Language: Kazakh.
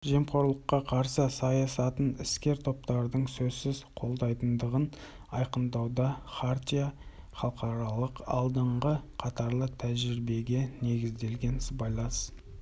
жемқорлыққа қарсы саясатын іскер топтардың сөзсіз қолдайтындығын айқындауда хартия халықаралық алдыңғы қатарлы тәжірибеге негізделген сыбайлас